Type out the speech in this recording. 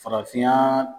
Farafinya